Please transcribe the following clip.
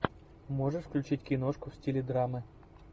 можешь включить киношку в стиле драмы